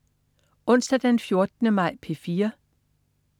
Onsdag den 14. maj - P4: